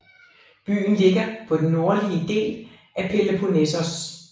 Byen ligger på den nordlige del af Peloponnesos